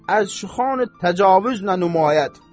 Əz şüxan təcavüz nə numayəd.